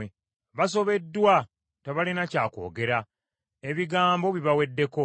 “Basobeddwa, tebalina kya kwogera, ebigambo bibaweddeko.